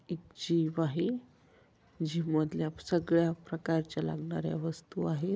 एक जीम आहे जीम मधल्या सगळ्या प्रकारच्या लागणार्‍या वस्तु आहेत.